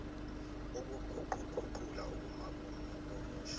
ukuguquguqula ukuma komusho